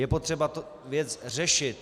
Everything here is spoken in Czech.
Je potřeba tu věc řešit.